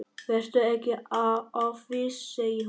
Vertu ekki of viss, segir hún.